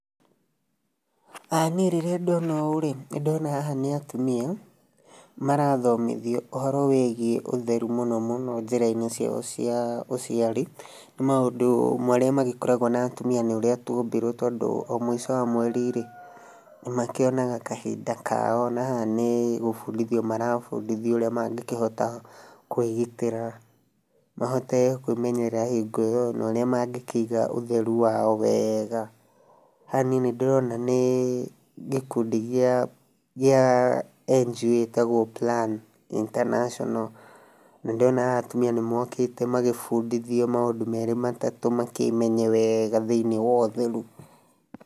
Haha niĩ rĩrĩa ndona ũũ-rĩ, nĩndona haha nĩ atumia marathomithio ũhoro wĩgiĩ ũtheru mũno mũno njĩra-inĩ ciao cia ũciari. Nĩ maũndũ marĩa magĩkoragwo na atumia nĩ ũrĩa twombirwo tondũ o mũico wa mweri-rĩ, nĩmakĩonaga kahinda kao, na haha nĩgũbundithio marabundithio ũrĩa mangĩkĩhota kwĩgitĩra, mahote kwĩmenyerera hingo ĩyo, na ũrĩa mangĩkĩiga ũtheru wao wega. Haha niĩ nĩndĩrona nĩĩ gĩkundi gĩa gĩa NGO gĩtagwo Plan International. Na nĩndĩrona haha atumia nĩmagĩũkĩte magĩbundithio maũndũ merĩ matatũ makĩmenye wega thĩiniĩ wa ũtheru.